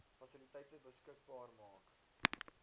fasiliteite beskikbaar maak